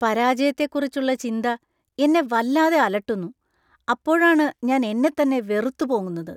പരാജയത്തെക്കുറിച്ചുള്ള ചിന്ത എന്നെ വല്ലാതെ അലട്ടുന്നു, അപ്പോഴാണ് ഞാൻ എന്നെത്തന്നെ വെറുത്ത് പോകുന്നത്.